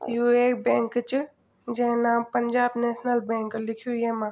यू एक बैंक च जै नाम पंजाब नेशनल बैंक लिखयूं यामा।